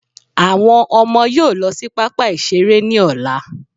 Àwọn ọmọ yóò lọ sí pápá ìṣeré ní ọ̀la